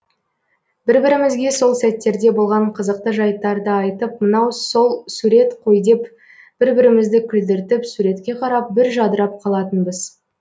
бір бірімізге сол сәттерде болған қызықты жайттарды айтып мынау сол сурет қой деп бір бірімізді күлдіртіп суретке қарап бір жадырап қалатынбыз